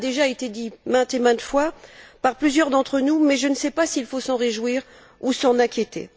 Cela a déjà été dit maintes et maintes fois par plusieurs d'entre nous, mais je ne sais pas s'il faut s'en réjouir ou s'en inquiéter.